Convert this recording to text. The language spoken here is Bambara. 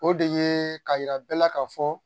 O de ye ka yira bɛɛ la ka fɔ